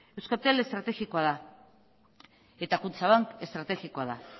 euskaltel estrategikoa da eta kutxabank estrategikoa da